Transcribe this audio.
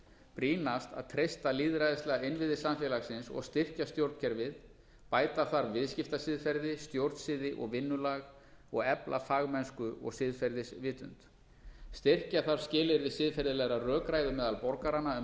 brýnast að treysta lýðræðislega innviði samfélagsins og styrkja stjórnkerfið bæta þarf viðskiptasiðferði stjórnsiði og vinnulag efla fagmennsku og siðferðisvitund styrkja þarf skilyrði siðferðilegrar rökræðu meðal borgaranna um